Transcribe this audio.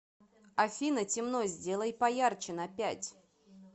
афина темно сделай поярче на пять